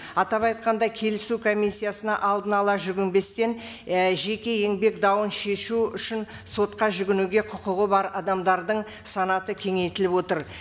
атап айтқанда келісу комиссиясына алдын ала жүгінбестен і жеке еңбек дауын шешу үшін сотқа жүгінуге құқығы бар адамдардың санаты кеңейтіліп отыр